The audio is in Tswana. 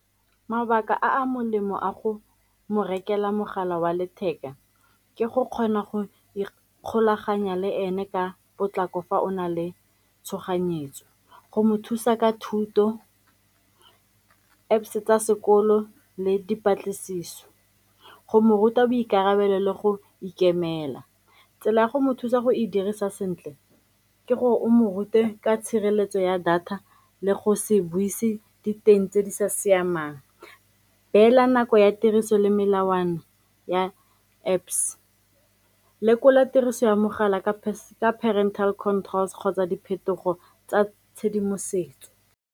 Mabaka a a molemo a go mo rekela mogala wa letheka ke go kgona go ikgolaganya le ene ka potlako fa o na le tshoganyetso go mo thusa ka thuto, Apps-e tsa sekolo le dipatlisiso go mo ruta boikarabelo le go ikemela. Tsela ya go mo thusa go e dirisa sentle ke gore o mo rute ka tshireletso ya data le go se buisa diteng tse di sa siamang, beela nako ya tiriso le melawana ya Apps, lekola tiriso ya mogala ka parental controls kgotsa diphetogo tsa tshedimosetso.